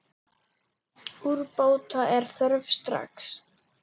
Úrbóta er þörf strax.